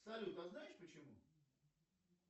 салют а знаешь почему